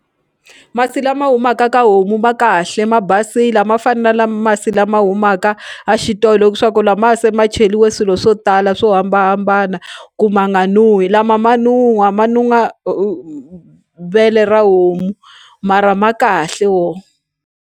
Masi lama humaka ka homu ma kahle ma basile a ma fani na lama masi lama humaka a xitolo swa ku lamaya se ma cheliwe swilo swo tala swo hambanahambana ku ma nga nuhi lama ma nuhwa ma nuhwa vele ra homu mara ma kahle wo.